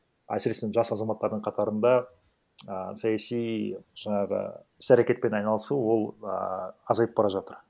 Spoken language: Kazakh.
әсіресе жас азаматтардың қатарында а саяси жаңағы іс әрекетпен айналысу ол а азайып бара жатыр